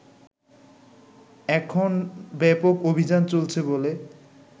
এখন ব্যাপক অভিযান চলছে বলে